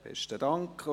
Besten Dank.